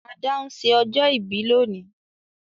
Ada n se ọjọ́ ìbí lónìí